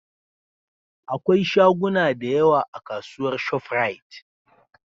akwai shaguna da yawa a kasuwar shop rite